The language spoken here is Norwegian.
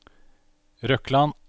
Røkland